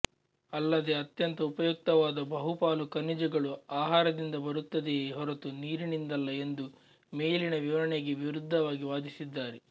ಅಲ್ಲದೇ ಅತ್ಯಂತ ಉಪಯುಕ್ತವಾದ ಬಹುಪಾಲು ಖನಿಜಗಳು ಆಹಾರದಿಂದ ಬರುತ್ತದೆಯೇ ಹೊರತು ನೀರಿನಿಂದಲ್ಲ ಎಂದು ಮೇಲಿನ ವಿವರಣೆಗೆ ವಿರುದ್ಧವಾಗಿ ವಾದಿಸಿದ್ದಾರೆ